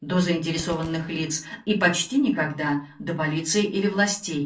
до заинтересованных лиц и почти никогда до полиции или властей